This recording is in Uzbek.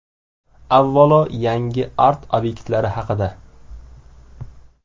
Avvalo, yangi art-obyektlar haqida.